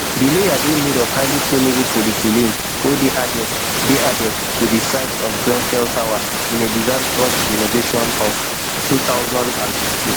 di layer dey made of highly flammable polyethylene wey dey added dey added to di sides of grenfell tower in a disastrous renovation of two thousand and sixteen